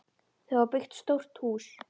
Þau hafa byggt stórt hús.